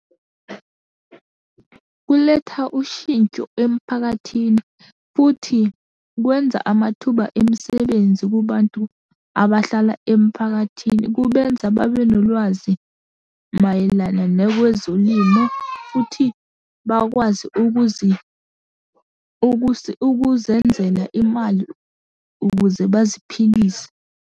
Kuletha ushintsho emphakathini, futhi kwenza amathuba emisebenzi kubantu abahlala emphakathini, kubenza babe nolwazi mayelana nakwezolimo, futhi bakwazi ukuzenzela imali ukuze baziphilise.